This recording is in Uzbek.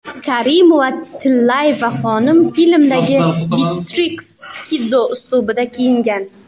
Karimova-Tillayeva xonim filmdagi Beatriks Kiddo uslubida kiyingan.